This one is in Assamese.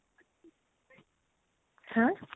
হা?